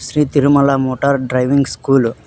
Shri Tirumala motor driving school .